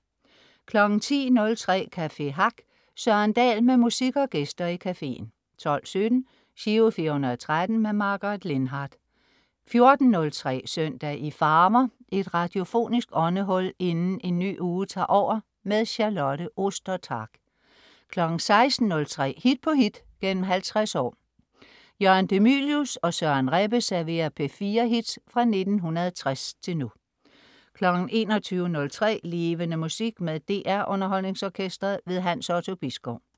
10.03 Café Hack. Søren Dahl med musik og gæster i caféen 12.17 Giro 413. Margaret Lindhardt 14.03 Søndag i farver. Et radiofonisk åndehul inden en ny uge tager over. Charlotte Ostertag 16.03 Hit på hit gennem 50 år. Jørgen de Mylius og Søren Rebbe serverer P4-hits fra 1960 til nu 21.03 Levende Musik. Med DR Underholdningsorkestret. Hans Otto Bisgaard